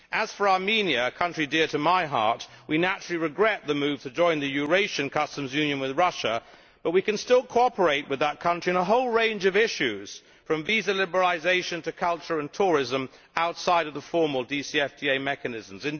As for Armenia, a country dear to my heart, we naturally regret its move to join the Eurasian Customs Union with Russia, but we can still cooperate with that country on a whole range of issues, from visa liberalisation to culture and tourism outside the formal DCFTA mechanisms.